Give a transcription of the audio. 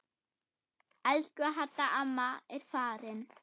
Elsku Hadda amma er farin.